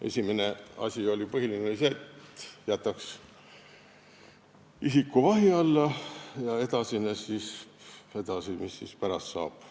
Esimene ja põhiline asi oli see, et jätaks isiku vahi alla ja siis vaataks, mis pärast saab.